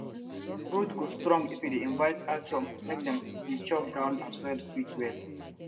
root go strong if we dey invite earthworm make dem dey chop ground and soil sweet well